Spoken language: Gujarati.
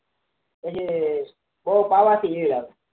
પછી બહુ પાવા થી ઈયર આવે